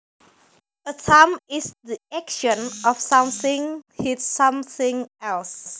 A thump is the action of something hits something else